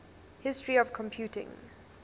history of computing